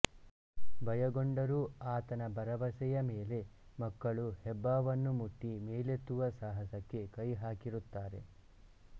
ಭಯಗೊಂಡರೂ ಆತನ ಭರವಸೆಯ ಮೇಲೆ ಮಕ್ಕಳು ಹೆಬ್ಬಾವನ್ನು ಮುಟ್ಟಿ ಮೇಲೆತ್ತುವ ಸಾಹಸಕ್ಕೆ ಕೈ ಹಾಕಿರುತ್ತಾರೆ